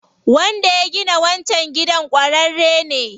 Wanda ya gina wancan gidan ƙwararre ne.